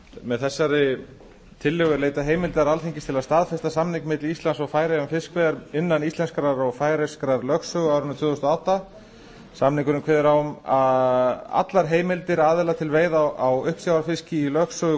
með þessari tillögu er leitað heimildar alþingis til að staðfesta samning milli íslands og færeyja um fiskveiðar innan íslenskrar og færeyskrar lögsögu á árinu tvö þúsund og átta samningurinn kveður á um allar heimildir aðila til veiða á uppsjávarfiski í lögsögu